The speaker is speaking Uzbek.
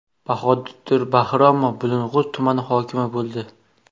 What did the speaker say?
Bahodir Bahromov Bulung‘ur tumani hokimi bo‘ldi.